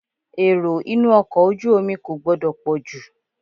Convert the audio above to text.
Èrò inú ọkọ̀ ojú omi kò gbọdọ̀ pọ̀ jù.